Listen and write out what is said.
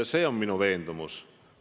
See on minu veendumus.